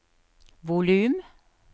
volum